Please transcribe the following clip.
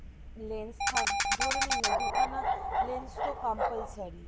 lens থাক ধরে নিন না দু খানা lens তো compulsory